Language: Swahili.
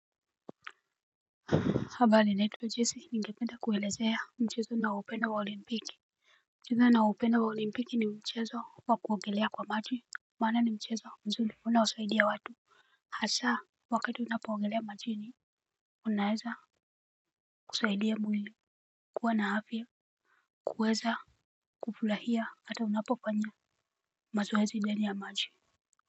Habrli naitwa jesi ningependa kuelezea mchezo ninaoupenda wa olimpiki mchezo niaoupenda wa olimpiki ni mchezo wa kuogelea kwa maji. Maana ni mchezo mzuri unaosaidia watu hasa wakati unapo ogelea majini. Unaweza kusaidia mwili kuwa na afya kuweza kufurahia hata unapofanya mazoezi ndani ya maji.